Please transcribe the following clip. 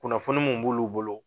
Kunnafoni mun b'ulu bolo